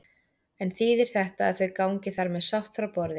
En þýðir þetta að þau gangi þar með sátt frá borði?